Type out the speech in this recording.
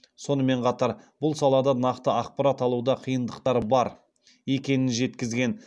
сонымен қатар бұл салада нақты ақпарат алуда қиындықтар бар екенін жеткізген